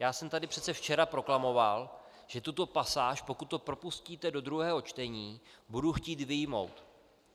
Já jsem tady přece včera proklamoval, že tuto pasáž, pokud to propustíte do druhého čtení, budu chtít vyjmout.